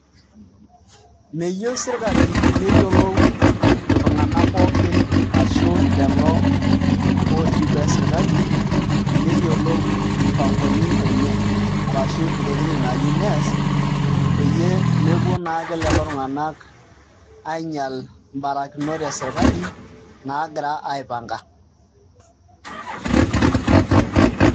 Meyieu sirkali neyiolou iltunganak pookin ashu lelo otii boo esirkali neyiolou mpangoni enye ashu ntokitin naayieu nees peyie mepuo naake lelo tung'anak ainyial mbarakinot esirkali naagira aipanga.